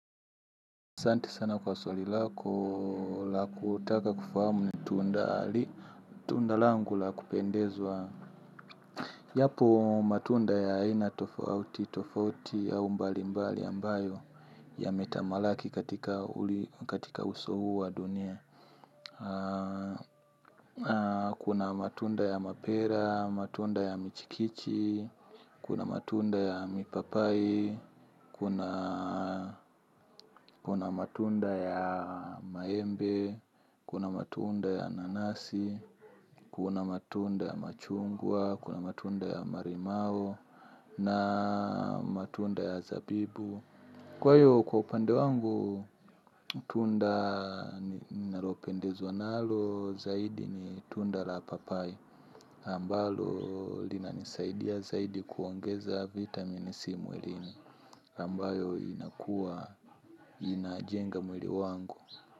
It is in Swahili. Asanti sana kwa swali lako la kutaka kufahamu tundali, tunda langu la kupendezwa. Yapo matunda ya aina tofauti tofauti au mbalimbali ambayo yametamalaki katika uso huu wa dunia. Kuna matunda ya mapera, matunda ya michikichi. Kuna matunda ya mipapai, kuna kuna matunda ya maembe. Kuna matunda ya nanasi, kuna matunda ya machungwa, kuna matunda ya marimao na matunda ya zabibu. Kwa hiyo kwa upande wangu, tunda nilopendezwa nalo zaidi ni tunda la papai. Ambalo linanisaidia zaidi kuongeza vitamin C mwilini, ambayo inakua, inajenga mwili wangu.